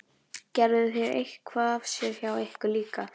Gerðu þeir eitthvað af sér hjá ykkur líka?